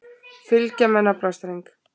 Fylgja með naflastreng.